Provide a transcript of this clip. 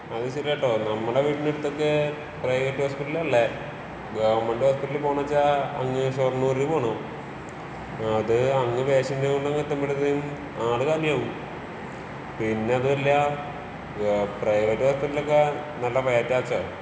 അത് ശെരിയാട്ടോ നമ്മുടെ വീടിന്റെ അടുത്തൊക്കേ പ്രൈവറ്റ് ഹോസ്പിറ്റലല്ലേ. ഗവണ്മെന്റ് ഹോസ്പിറ്റലിൽ പോണന്ന് വെച്ചാ അങ്ങ് ഷൊർണൂർ പോണം.അത് നോട്ട്‌ ക്ലിയർ എത്തുമ്പഴേക്കും ആള് കാലിയാവും. പിന്നെ അതുമല്ലാ ഏഹ് പ്രൈവറ്റ് ഹോസ്പിറ്റലൊക്കെ നല്ല *നോട്ട്‌ ക്ലിയർ*.